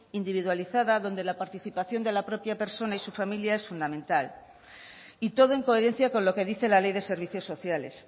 individualizada donde la participación de la propia persona y su familia es fundamental y todo en coherencia con lo que dice la ley de servicios sociales